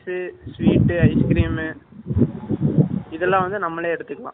sweets ice cream இதுலாம் வந்து நம்மளே எடுத்துக்கலாம்.